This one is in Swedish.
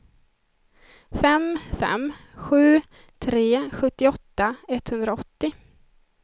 fem fem sju tre sjuttioåtta etthundraåttio